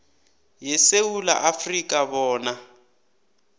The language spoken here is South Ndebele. yesewula afrika bona